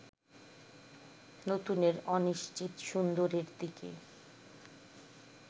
নতুনের অনিশ্চিত সুন্দরের দিকে